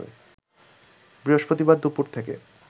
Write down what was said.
বৃহস্পতিবার দুপুর থেকে